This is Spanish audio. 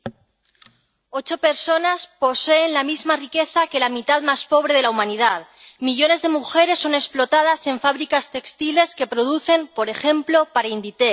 Señor presidente, ocho personas poseen la misma riqueza que la mitad más pobre de la humanidad. Millones de mujeres son explotadas en fábricas textiles que producen, por ejemplo, para Inditex.